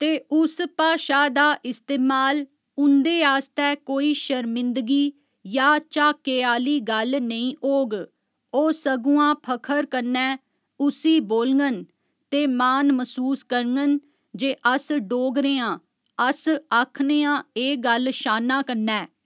ते उस भाशा दा इस्तेमाल उं'दे आस्तै कोई शर्मिंदगी या झाके आह्‌ली गल्ल नेईं होग ओह् सगुआं फखर कन्नै उसी बोलङन ते मान मसूस करङन जे अस डोगरे आं अस आखने आं एह् गल्ल शान्ना कन्नै